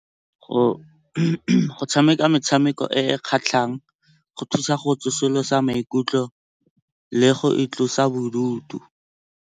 Go tshameka metshameko e e kgatlhang go thusa go tsosolosa maikutlo le go itlosa bodutu.